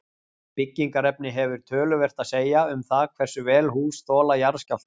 byggingarefni hefur töluvert að segja um það hversu vel hús þola jarðskjálfta